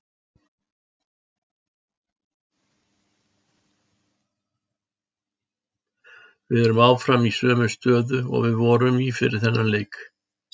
Við erum áfram í sömu stöðu og við vorum í fyrir þennan leik.